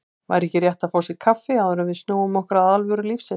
Væri ekki rétt að fá sér kaffi, áður en við snúum okkur að alvöru lífsins.